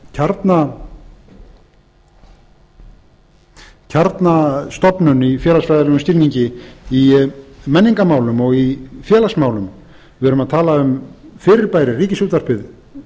tala um kjarnastofnun í félagsfræðilegum skilningi í menningarmálum og í félagsmálum við erum að tala um fyrirbæri ríkisútvarpið